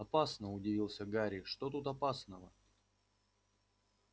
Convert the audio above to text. опасно удивился гарри что тут опасного